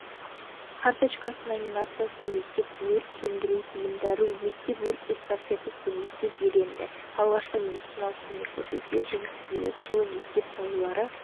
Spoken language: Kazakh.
карточкасы номинациясын мектеп өрт сөндіру бұйымдары мектеп өрт эстафетасы мектеп иеленді алғашқы медициналық көмек көрсетуде жеңіс биылғы жылы мектеп балалары